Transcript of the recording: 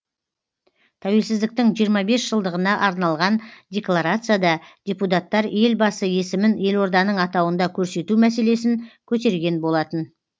тәуелсіздіктің жиырма бес жылдығына арналған декларацияда депутаттар елбасы есімін елорданың атауында көрсету мәселесін көтерген болатын